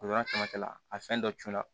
O yɔrɔ caman la a fɛn dɔ tun na